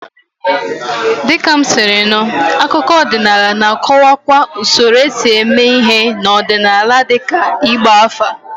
Dịka m siri nụ, akụkọ ọdịnala na-akọwakwa usoro esi eme ihe ọdịnala dịka ịgba afa.